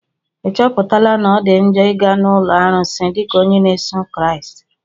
Ị chọpụtala na ọ dị njọ ịga n'ụlọ arụsị dịka onye na-eso Kraịst?